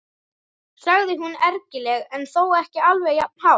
sagði hún ergilega en þó ekki alveg jafn hátt.